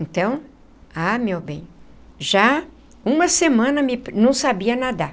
Então, ah, meu bem, já uma semana eu não sabia nadar.